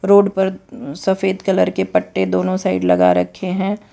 Road पर सफेद colour के पट्टे दोनों साइड लगा रखे हैं।